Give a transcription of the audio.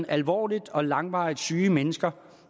alvorligt og langvarigt syge mennesker